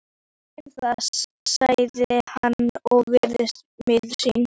Ég finn það, sagði hann og virtist miður sín.